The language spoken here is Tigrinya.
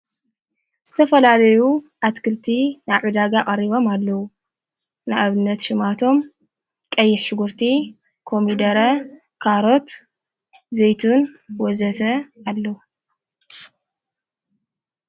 ስተፈላለዩ ኣትክልቲ ናዕዕዳጋ ዓሪቦም ኣለዉ ንኣብነት ሽማቶም ቀይሕ ሽጕርቲ ኮሚደረ ካሮት ዘይቱን ወዘተ ኣለዉ።